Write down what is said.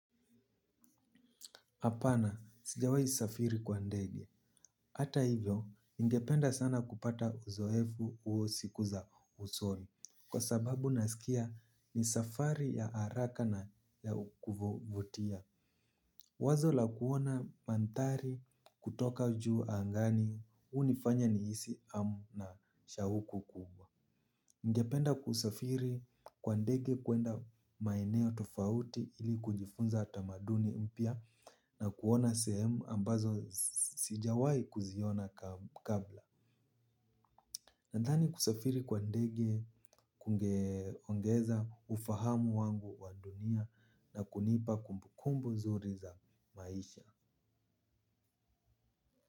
HApana sijawahi safiri kwa ndege. Hata hivyo ningependa sana kupata uzoefu huo siku za usoni. Kwa sababu nasikia ni safari ya haraka na ya kuvutia. Wazo la kuona mandhari kutoka juu angani hunifanya nihisi hamu na shauku kubwa. Ningependa kusafiri kwa ndege kuenda maeneo tofauti ili kujifunza tamaduni mpya na kuona sehemu ambazo sijawai kuziona kabla. Nadhani kusafiri kwa ndege kungeongeza ufahamu wangu wa dunia na kunipa kumbukumbu nzuri za maisha.